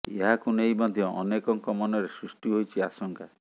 ଏହାକୁ ନେଇ ମଧ୍ୟ ଅନେକଙ୍କ ମନରେ ସୃଷ୍ଟି ହୋଇଛି ଆଶଙ୍କା